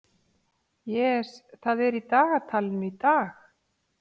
Jes, hvað er í dagatalinu í dag?